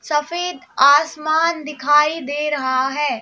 सफेद आसमान दिखाई दे रहा है।